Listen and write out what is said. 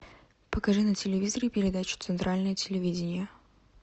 покажи на телевизоре передачу центральное телевидение